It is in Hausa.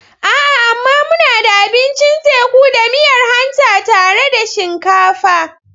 A'a! amma muna da abincin teku da miyar hanta tare da shinkafa.